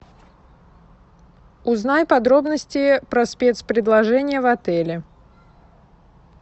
узнай подробности про спецпредложение в отеле